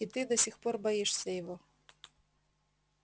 и ты до сих пор боишься его